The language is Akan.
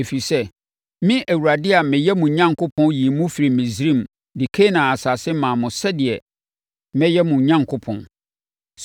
Ɛfiri sɛ, me Awurade a meyɛ mo Onyankopɔn yii mo firii Misraim de Kanaan asase maa mo sɛdeɛ mɛyɛ mo Onyankopɔn.